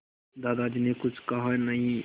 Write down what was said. दादाजी ने कुछ कहा नहीं